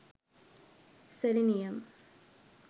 selenium